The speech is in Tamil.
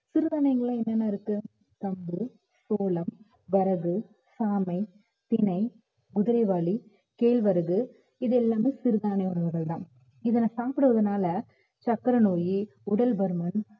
சிறுதானியங்கள்ல என்னென்ன இருக்கு கம்பு, சோளம், வரகு, சாமை, திணை, குதிரைவாலி, கேழ்வரகு இது எல்லாமே சிறுதானிய உணவுகள்தான் இதனை சாப்பிடுவதனால சர்க்கரை நோயி, உடல் பருமன்